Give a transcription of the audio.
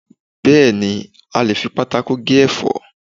Bẹ́ẹ̀ni, a lè fi pátákó gé ẹ̀fọ́